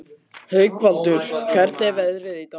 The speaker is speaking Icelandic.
Haukvaldur, hvernig er veðrið í dag?